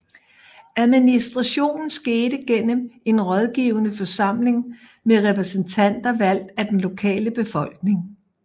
Administrationen skete gennem en rådgivende forsamling med repræsentanter valgt af den lokale befolkning